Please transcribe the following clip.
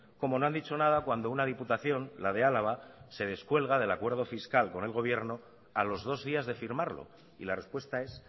como no han dicho nada cuando una diputación la de álava se descuelga del acuerdo fiscal con el gobierno a los dos días de firmarlo y la respuesta es